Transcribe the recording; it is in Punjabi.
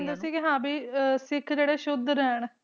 ਮਤਲਬ ਉਨ੍ਹਾਂ ਨੇ ਉਹ ਹੀ ਕਹਿੰਦੇ ਸੀ ਹਾਂ ਭੀ ਸਿੱਖ ਜਿਹੜੇ ਹੈ ਸੁੱਧ ਰਹਿਣ